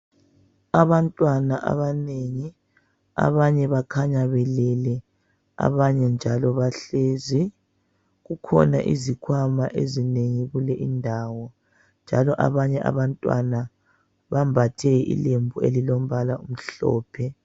Abantwana abanengi abanye bakhanya belele abanye njalo bahlezi . Kukhona izikhwama ezinengi kule indawo njalo abanye abantwana bambathe ilembu elilombala omhlophe.